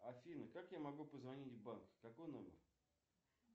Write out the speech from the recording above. афина как я могу позвонить в банк какой номер